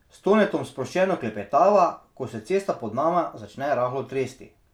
S Tonetom sproščeno klepetava, ko se cesta pod nama začne rahlo tresti.